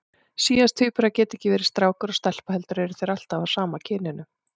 Síamstvíburar geta ekki verið strákur og stelpa heldur eru þeir alltaf af sama kyninu.